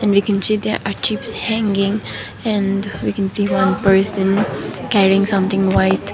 are there keeps hanging and we can see one person carrying something white.